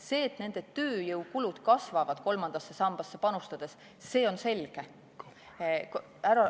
See, et nende tööjõukulud kasvavad kolmandasse sambasse panustades, on selge.